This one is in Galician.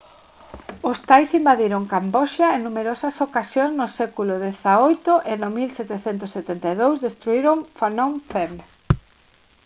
os thais invadiron camboxa en numerosas ocasións no século xviii e no 1772 destruíron phnom phen